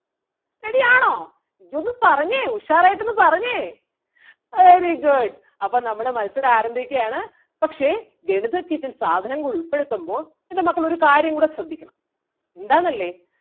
ready ആണോ? എങ്കി ഒന്ന് പറഞ്ഞേ ഉഷാറായിട്ടൊന്ന് പറഞ്ഞേ. very good അപ്പം നമ്മള് മത്സരം ആരംഭിക്കുകയാണ് പക്ഷേ ഗണിത kit ൽ സാധനങ്ങൾ ഉൾപ്പെടുത്തുമ്പോ എൻ്റെ മക്കൾ ഒരു കാര്യം കൂടെ ശ്രെദ്ധിക്കണം എന്താന്നല്ലേ?